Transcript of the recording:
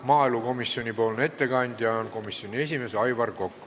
Maaelukomisjoni ettekandja on komisjoni esimees Aivar Kokk.